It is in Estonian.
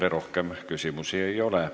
Teile rohkem küsimusi ei ole.